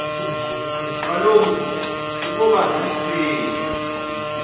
kaloku ukoba zisina